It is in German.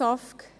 SAFG: